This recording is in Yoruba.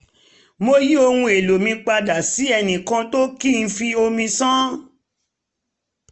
mo yí ohun èlò mi padà sí ẹnìkan tó kì í fi omi ṣàn